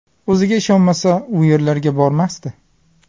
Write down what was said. O‘ziga ishonmasa, u yerlarga bormasdi.